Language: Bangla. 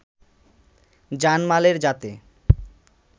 জানমালের যাতে